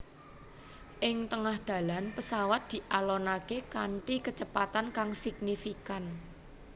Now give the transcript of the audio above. Ing tengah dalan pesawat dialonaké kanthi kecepatan kang signifikan